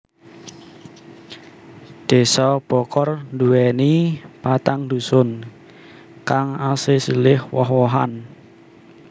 Désa Bokor duwéni patang dusun kang asesilih woh wohan